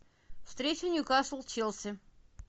встреча ньюкасл челси